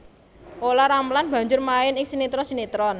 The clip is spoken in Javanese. Olla Ramlan banjur main ing sinetron sinetron